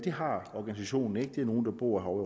har organisationen ikke det er nogle der bor ovre